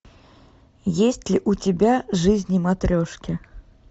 есть ли у тебя жизни матрешки